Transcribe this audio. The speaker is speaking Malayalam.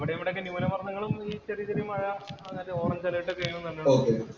അവിടെയിവടെ ന്യൂനമര്‍ദ്ദങ്ങളും, ഈ ചെറിയ ചെറിയ മഴ അങ്ങനത്തെ ഓറഞ്ചു അലേര്‍ട്ട് ഒക്കെ വരുന്നുണ്ട്.